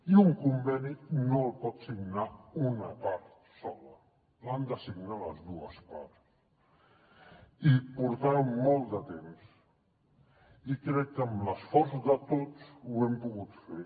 i un conveni no el pot signar una part sola l’han de signar les dues parts i portàvem molt de temps i crec que amb l’esforç de tots ho hem pogut fer